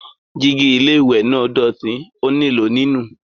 Jígí ilé-ìwẹ̀ náà dọ̀tí, ó nílò nínù.